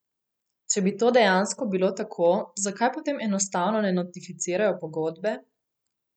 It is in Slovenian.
Če bi to dejansko bilo tako, zakaj potem enostavno ne notificirajo pogodbe?